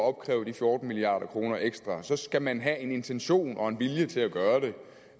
at opkræve de fjorten milliard kroner ekstra skal man have en intention og en vilje til at gøre